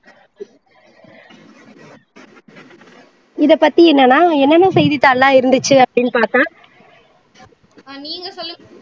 இதை பத்தி என்னன்னா என்னென்ன செய்தித்தாள் எல்லாம் இருந்துச்சு அப்படினு பாத்தா நீங்க சொல்லுங்க